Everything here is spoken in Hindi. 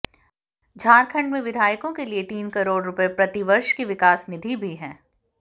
झारखंड में विधायकों के लिए तीन करोड़ रुपए प्रतिवर्ष की विकास निधि भी है